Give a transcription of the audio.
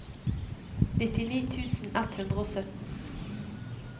nittini tusen ett hundre og sytten